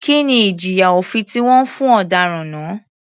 Kí ni ìjìyà òfin tí wọ́n fún ọ̀daràn náà?